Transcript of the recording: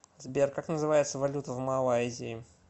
сбер как называется валюта в малайзии